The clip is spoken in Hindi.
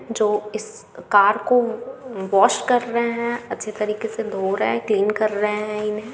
जो इस कार को वॉश कर रहे है अच्छी तरीके से धो रहे है क्लीन कर रहे हैं इन्हे।